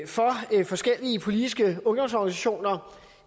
for forskellige politiske ungdomsorganisationer